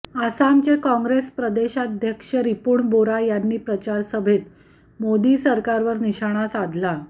आसामचे काँग्रेस प्रदेशाध्यक्ष रिपुण बोरा यांनी प्रचारसभेत मोदी सरकारवर निशाणा साधला